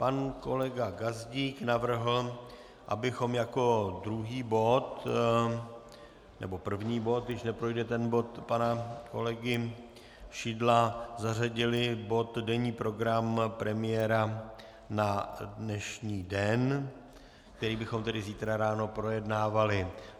Pan kolega Gazdík navrhl, abychom jako druhý bod, nebo první bod, když neprojde ten bod pana kolegy Šidla, zařadili bod denní program premiéra na dnešní den, který bychom tedy zítra ráno projednávali.